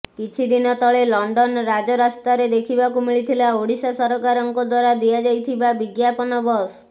କିଛିଦିନ ତଳେ ଲଣ୍ଡନ ରାଜରାସ୍ତାରେ ଦେଖିବାକୁ ମିଳିଥିଲା ଓଡିଶା ସରକାରଙ୍କ ଦ୍ୱାରା ଦିଆଯାଇଥିବା ବିଜ୍ଞାପନ ବସ